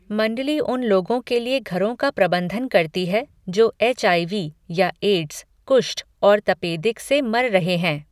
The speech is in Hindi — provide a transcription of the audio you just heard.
मण्डली उन लोगों के लिए घरों का प्रबंधन करती है जो एच आई वी या एड्स, कुष्ठ और तपेदिक से मर रहे हैं।